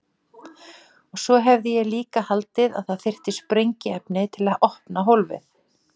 Og svo hefði ég líka haldið að það þyrfti sprengiefni til þess að opna hólfið.